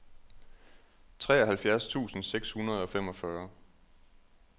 treoghalvfjerds tusind seks hundrede og femogfyrre